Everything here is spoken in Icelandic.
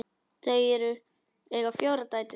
Þau eiga fjórar dætur.